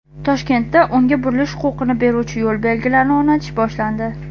Toshkentda o‘ngga burilish huquqini beruvchi yo‘l belgilarini o‘rnatish boshlandi.